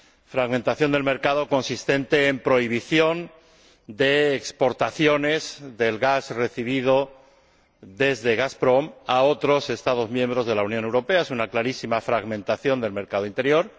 fragmentación del mercado consistente en la prohibición de exportaciones del gas recibido desde Gazprom a otros Estados miembros de la Unión Europea. Es una clarísima fragmentación del mercado interior.